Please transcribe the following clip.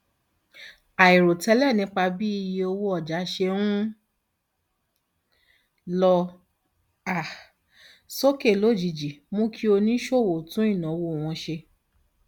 àìròtẹlẹ nípa bí iye owó ọjà ṣe ń lọ um sókè lójijì mú kí oníṣòwò tún ìnáwó wọn ṣe